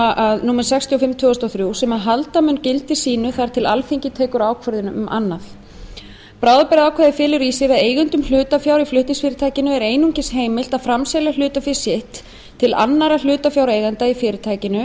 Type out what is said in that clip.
raforkulaga númer sextíu og fimm tvö þúsund og þrjú sem halda mun gildi sínu þar til alþingi tekur ákvörðun um annað bráðabirgðaákvæðið felur í sér að eigendum hlutafjár í flutningsfyrirtækinu er einungis heimilt að framselja hlutafé sitt til annarra hlutafjáreigenda í fyrirtækinu